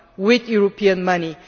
with European money.